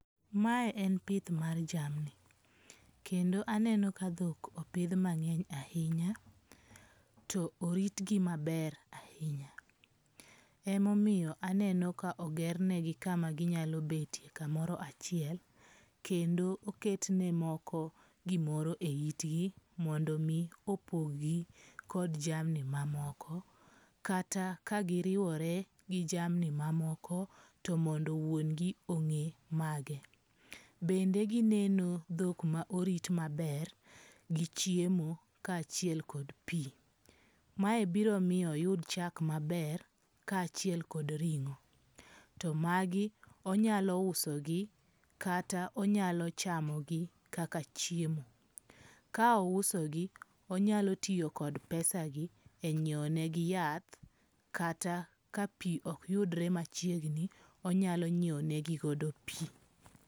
Mae en pith mar jamni kendo aneno ka thok opith mangeny ahinya, to oritgi maber ahinya, ema omiyo aneno ka ogernegi kama ginyalo betie kamoro achiel, kendo oketne moko gimoro e yitgi mondo mi opog gi kod jamni mamoko, kata ka giriwore gi jamni mamoko to mondo wuongi onge' mage, bende gineno thok ma orit maber gi chiemo ka chiel kod pi, mae biro miyo oyud chak maber kae achiel kod ringo, to magi onyalo usogi kata onyalo chamogi kaka chiemo, ka ousogi onyalo tiyo kod pesagi e nyiewonegi yath kata ka pi okyudre machiegni onyalo nyiewogigodo pi.